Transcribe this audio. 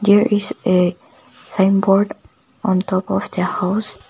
there is a sign board on top of the house.